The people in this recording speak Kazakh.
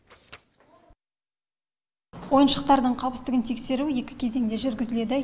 ойыншықтардың қауіпсіздігін тексеру екі кезеңде жүргізіледі